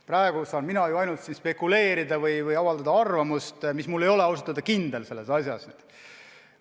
Praegu saan mina siin ainult spekuleerida või avaldada arvamust, mida mul ausalt öelda selles asjas pole.